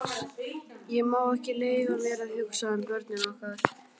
Ég má ekki leyfa mér að hugsa um börnin okkar.